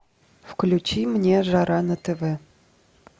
включи мне жара на тв